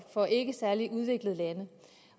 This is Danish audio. fra ikke særlig udviklede lande